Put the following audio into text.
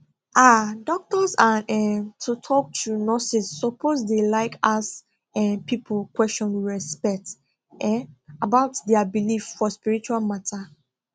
um doctors and um to talk true nurses suppose dey like ask um people question with respect um about dia believe for spiritual matter